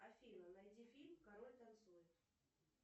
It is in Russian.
афина найди фильм король танцует